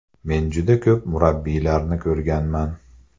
Men juda ko‘p murabbiylarni ko‘rganman.